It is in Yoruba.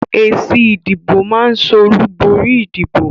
Èsì ìdìbò máa so olùborí ìdìbò